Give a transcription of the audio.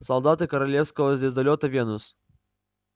солдаты королевского звездолёта венус